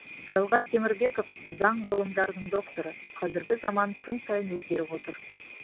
жалғас темірбеков заң ғылымдарының докторы қазіргі заман күн сайын өзгеріп отыр